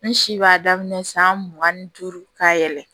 N si b'a daminɛ san mugan ni duuru ka yɛlɛ